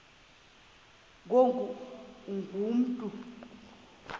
ngoku ungu mntu